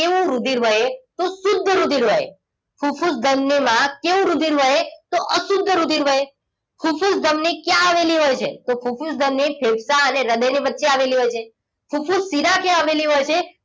કેવું રુધિર વહે તો શુદ્ધ રુધિર વહે ફુફુસ ધમની માં કેવું રુધિર વહે તો અશુદ્ધ રુધિર વહે ફુફુસ ધમની ક્યાં આવેલી હોય છે તો ફુફુસ ધમની ફેફસા અને હૃદયની વચ્ચે આવેલી હોય છે ફુફુસ શિરા ક્યાં આવેલી હોય છે